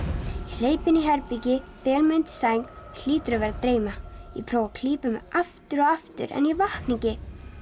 hleyp inn í herbergi fel mig undir sæng hlýtur að vera að dreyma ég prófa að klípa mig aftur og aftur en ég vakna ekki